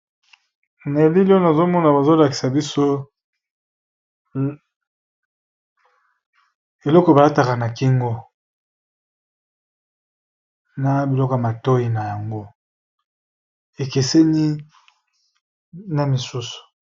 Na bilili oyo nazali komona bazolakisa biso eloko balataka na kingo na biloko ya matoyi na yango ekeseni na biloko mosusu.